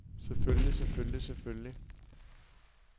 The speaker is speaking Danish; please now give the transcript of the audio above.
selvfølgelig selvfølgelig selvfølgelig